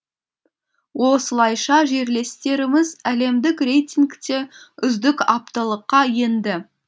осылайша жерлестеріміз әлемдік рейтингте үздік алтылыққа енді